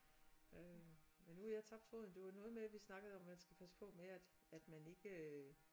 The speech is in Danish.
Men nu har jeg tabt tråden det var noget med vi snakkede om at man skal passe på med at at man ikke